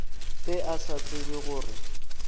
ge a sa tsebe gore